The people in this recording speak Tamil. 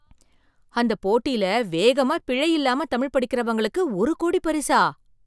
அந்த போட்டில வேகமா பிழை இல்லாம தமிழ் படிக்கறவங்களுக்கு ஒரு கோடி பரிசா!